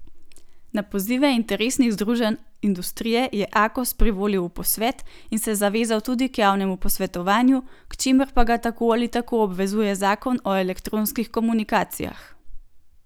Na pozive interesnih združenj industrije je Akos privolil v posvet in se zavezal tudi k javnemu posvetovanju, k čemur pa ga tako ali tako obvezuje zakon o elektronskih komunikacijah.